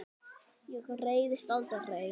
Ég reiðist aldrei.